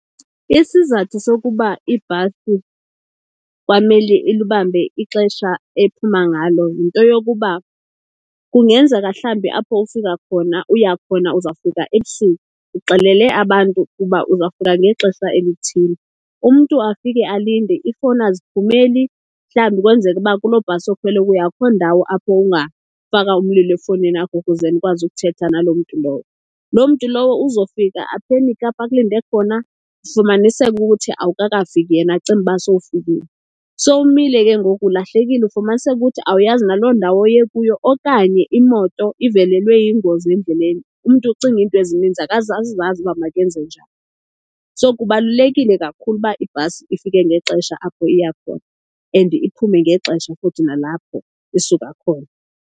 Isizathu sokuba ibhasi kwamele ilibambe ixesha ephuma ngalo yinto yokuba kungenzeka mhlambi apho ufika khona uya khona uzawufika ebusuku, uxelele abantu ukuba uzafika ngexesha elithile. Umntu afike alinde, iifowuni aziphumeli, mhlambi kwenzeke uba kuloo bhasi okhwele ukuya akho ndawo apho ungafaka umlilo efowunini yakho ukuze nikwazi ukuthetha naloo mntu lowo. Loo mntu lowo uzofika aphenikhe apho akulinde khona, ufumaniseke ukuthi awukakafiki yena acinge uba sowufikile. So umile ke ngoku ulahlekile, ufumaniseke ukuthi awuyazi naloo ndawo uye kuyo okanye imoto ivelelwe yingozi endleleni. Umntu ucinga iinto ezininzi akasazazi uba makenze njani. So kubalulekile kakhulu uba ibhasi ifike ngexesha apho iya khona and iphume ngexesha futhi nalapho isuka khona.